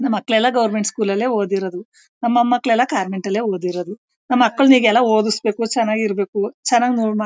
ನಮ್ ಮಕ್ಕಳೆಲ್ಲ ಗವರ್ನಮೆಂಟ್ ಸ್ಕೂಳ್ಳಲೇ ಓದಿರದು ನಮಕ್ಕ ಮಕ್ಕಳೆಲ್ಲ ಕಾನ್ವೆಂಟಲ್ಲೇ ಓದಿರದು ನಮ್ ಮಕಾಳಿಗೆ ಓಡಿಸಬೇಕು ಚೆನಾಗಿರಬೇಕು ಚೆನಾಗ್ --